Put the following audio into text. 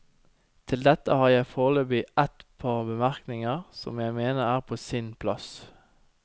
Til dette har jeg foreløpig et par bemerkninger som jeg mener er på sin plass.